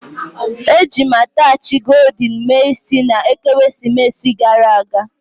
Eji m attachị goldin mee isi na ekeresimesi gara aga